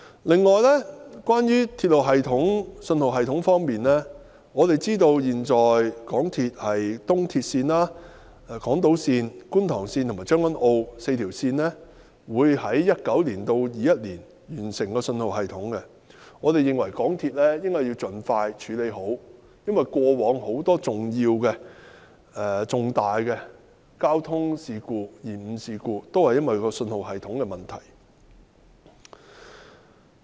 此外，在鐵路系統及信號系統方面，我們知道港鐵公司的東鐵線、港島線、觀塘線及將軍澳線這4條鐵路線，將於2019年至2021年完成安裝新信號系統，我們認為港鐵公司應盡快妥善安裝，因為過往很多重大交通延誤事故皆因信號系統出現問題而起。